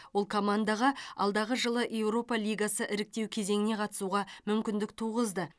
ол командаға алдағы жылы еуропа лигасы іріктеу кезеңіне қатысуға мүмкіндік туғызды